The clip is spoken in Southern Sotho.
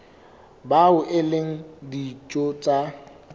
bao e leng ditho tsa